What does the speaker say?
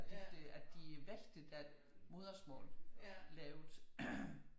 At de vægter deres modersmål lavt